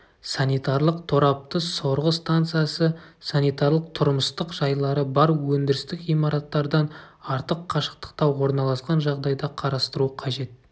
санитарлық торапты сорғы станциясы санитарлық-тұрмыстық жайлары бар өндірістік ғимараттардан артық қашықтықта орналасқан жағдайда қарастыру қажет